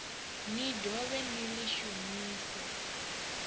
ni dovhe ni ḽi shumise